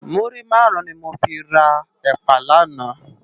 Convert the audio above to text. Múrí márùn ni mó fi rá èpá làná